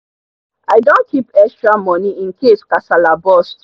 i don keep extramoney incase kasala burst